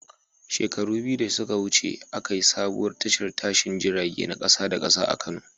Shekaru biyu da suka wuce, aka yi sabuwar tashar tashin jirage na kasa da kasa a Kano.